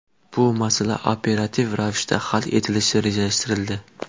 Bu masala operativ ravishda hal etilishi rejalashtirildi.